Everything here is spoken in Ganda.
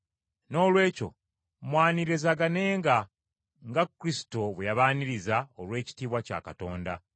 Noolwekyo mwanirizaganenga, nga Kristo bwe yabaaniriza olw’ekitiibwa kya Katonda.